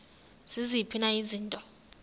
ziziphi na izinto